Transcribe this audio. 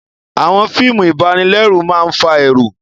Àwọn fíìmù ìbanilẹ́rù máa fa ẹ̀rù